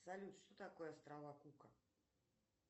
салют что такое острова кука